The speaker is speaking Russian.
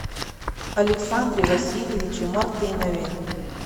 александре васильевиче мартынове